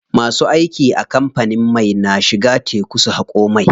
Masu aiki a kamfanin mai na shiga teku su haƙo mai.